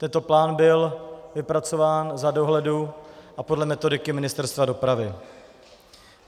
Tento plán byl vypracován za dohledu a podle metodiky Ministerstva dopravy.